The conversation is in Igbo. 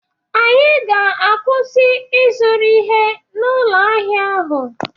Anyị ga-akwụsị ịzụrụ ihe n'ụlọ ahịa ahụ